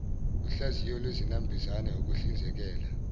uhlaziyo lwezinambuzane ukuhlizekela